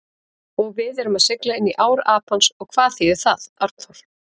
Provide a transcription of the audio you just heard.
Og við erum að sigla inní ár Apans og hvað þýðir það, Arnþór?